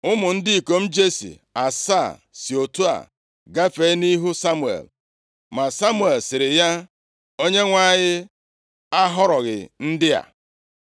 Ụmụ ndị ikom Jesi asaa si otu a gafee nʼihu Samuel, ma Samuel sịrị ya, “ Onyenwe anyị ahọrọghị ndị a.”